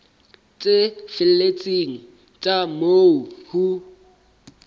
tse felletseng tsa moo ho